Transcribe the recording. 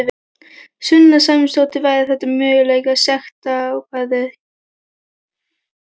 Sunna Sæmundsdóttir: Væru þetta mögulega sektarákvæði?